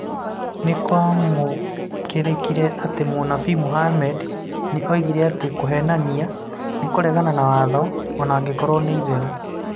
Nĩ kwamũkĩrĩkire atĩ Mũnabii Muhammad nĩ oigire atĩ "(kũheenania) nĩ kũregana na watho, o na angĩkorwo nĩ itherũ".